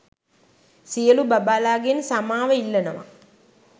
සියලු බබාලා ගෙන් සමාව ඉල්ලනවා